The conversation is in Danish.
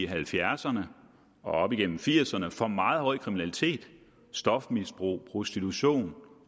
halvfjerdserne og op igennem nitten firserne for meget høj kriminalitet stofmisbrug prostitution